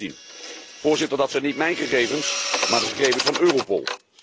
2016. Voorzitter, dat zijn niet mijn gegevens, maar de gegevens van Europol.